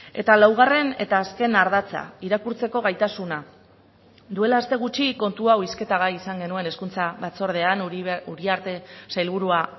eta laugarren eta azken ardatza irakurtzeko gaitasuna duela aste gutxi kontu hau hizketagai izan genuen hezkuntza batzordean uriarte sailburua